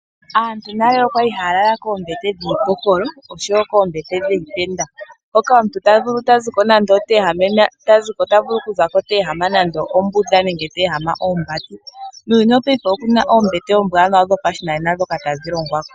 Aantu nale oyali haya lala koombete dhiipokolo oshowo koombete dhiitenda hoka omuntu ta ziko nande oteehama ombunda nenge teehama oombati. Muuyuni wopaife oku na oombete dhopashinanena ndhoka tadhi longwa.